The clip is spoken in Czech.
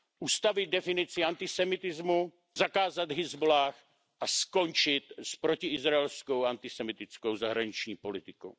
Ustavit definici antisemitismu, zakázat Hezbolláh a skončit s protiizraelskou antisemitskou zahraniční politikou.